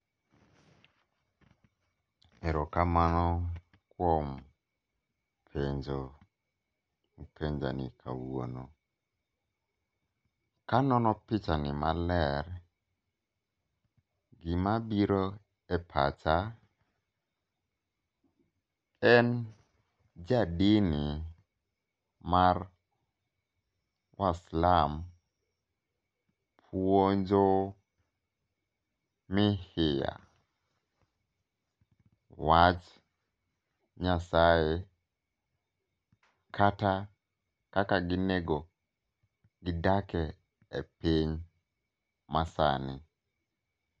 Erokamano kuom penjo mipenjani kawuono. Kanono pichani maler gimabiro e pacha en jadini mar waislam puonjo mihiya wach Nyasaye kata kaka ginego gidage piny masani.